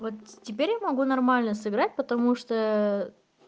вот теперь я могу нормально сыграть потому что